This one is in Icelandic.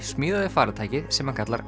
smíðaði farartækið sem hann kallar